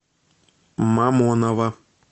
мамоново